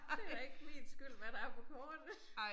Det da ikke min skyld hvad der er på kortet